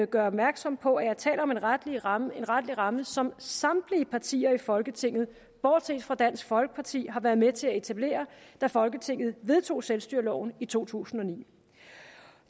gøre opmærksom på at jeg taler om en retlig ramme retlig ramme som samtlige partier i folketinget bortset fra dansk folkeparti har været med til at etablere da folketinget vedtog selvstyreloven i to tusind og ni